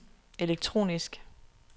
elektronisk